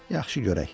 Yaxşı, görək.